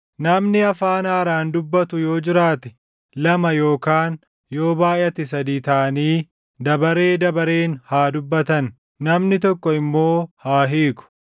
Namni afaan haaraan dubbatu yoo jiraate lama yookaan yoo baayʼate sadii taʼanii dabaree dabareen haa dubbatan; namni tokko immoo haa hiiku.